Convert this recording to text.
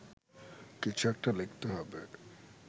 কিছু একটা লিখতে হবে